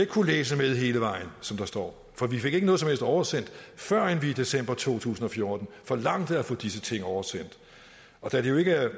kunnet læse med hele vejen som der står for vi fik ikke noget som helst oversendt førend vi i december to tusind og fjorten forlangte at få disse ting oversendt da det jo ikke er